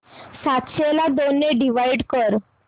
सातशे ला दोन ने डिवाइड कर